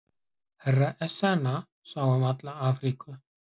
Herra Ezana sá um alla Afríku.